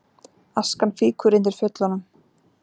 Askan fýkur undir Fjöllunum